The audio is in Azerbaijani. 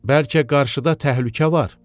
Bəlkə qarşıda təhlükə var?